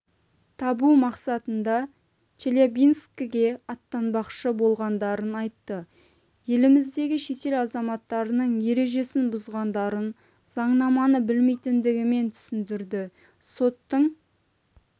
табу мақсатында челябинскіге аттанбақшы болғандарын айтты еліміздегі шетел азаматтарының ережесін бұзғандарын заңнаманы білмейтіндігімен түсіндірді соттың